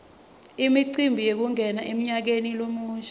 imicimbi yekungena emnyakeni lomusha